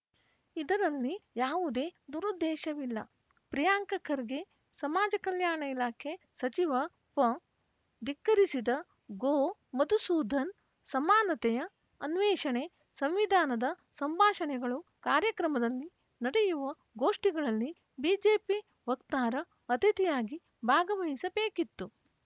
ಇದರಲ್ಲಿ ಯಾವುದೇ ದುರುದ್ದೇಶವಿಲ್ಲ ಪ್ರಿಯಾಂಕ ಖರ್ಗೆ ಸಮಾಜ ಕಲ್ಯಾಣ ಇಲಾಖೆ ಸಚಿವ ಫ ಧಿಕ್ಕರಿಸಿದ ಗೋ ಮದುಸೂಧನ್‌ ಸಮಾನತೆಯ ಅನ್ವೇಷಣೆ ಸಂವಿಧಾನದ ಸಂಭಾಷಣೆಗಳು ಕಾರ್ಯಕ್ರಮದಲ್ಲಿ ನಡೆಯುವ ಗೋಷ್ಠಿಗಳಲ್ಲಿ ಬಿಜೆಪಿ ವಕ್ತಾರ ಅತಿಥಿಯಾಗಿ ಭಾಗವಹಿಸಬೇಕಿತ್ತು